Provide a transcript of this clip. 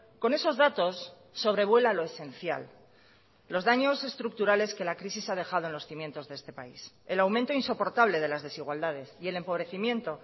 con esos datos sobrevuela lo esencial los daños estructurales que la crisis ha dejado en los cimientos de este país el aumento insoportable de las desigualdades y el empobrecimiento